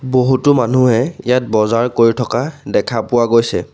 বহুতো মানুহে ইয়াত বজাৰ কৰি থকা দেখা পোৱা গৈছে।